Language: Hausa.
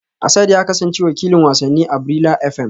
Asad ya kasance wakilin wasanni a Brila FM